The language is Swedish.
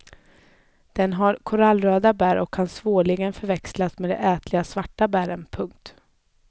Den har dock korallröda bär och kan svårligen förväxlas med de ätliga svarta bären. punkt